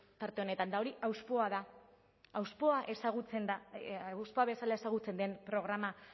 tarte honetan eta hori hauspoa da hauspoa bezala ezagutzen den programa